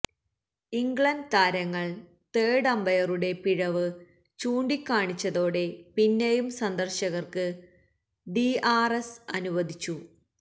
England താരങ്ങൾ third അമ്പയറുടെ പിഴവ് ചൂണ്ടികാണിച്ചതോടെ പിന്നെയും സന്ദർശകർക്ക് ഡിആർഎസ് അനുവദിച്ചു